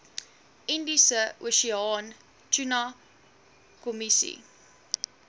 indiese oseaan tunakommissie